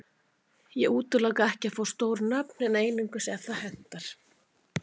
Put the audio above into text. Ég útiloka ekki að fá stór nöfn en einungis ef það hentar.